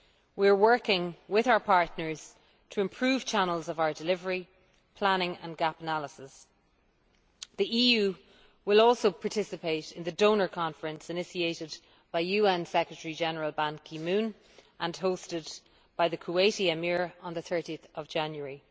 We are working with our partners to improve channels of our delivery, planning and gap analysis. The EU will also participate in the donor conference initiated by the UN Secretary General Ban Ki moon and hosted by the Kuwaiti Emir on 30 January.